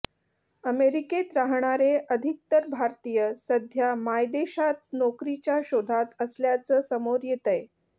अमेरिकेत राहणारे अधिकतर भारतीय सध्या मायदेशात नोकरीच्या शोधात असल्याचं समोर येतंय